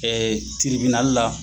Tribinali la